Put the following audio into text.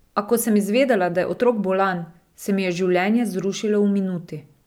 A ko sem izvedela, da je otrok bolan, se mi je življenje zrušilo v minuti.